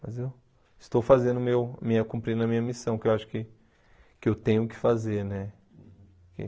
Mas eu estou fazendo, meu minha cumprindo a minha missão, que eu acho que que eu tenho que fazer, né?